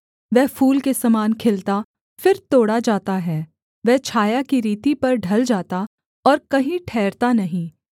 वह फूल के समान खिलता फिर तोड़ा जाता है वह छाया की रीति पर ढल जाता और कहीं ठहरता नहीं